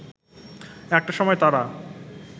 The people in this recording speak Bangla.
একটা সময় তারা